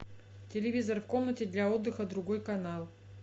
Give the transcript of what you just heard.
телевизор в комнате для отдыха другой канал